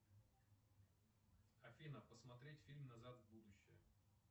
афина посмотреть фильм назад в будущее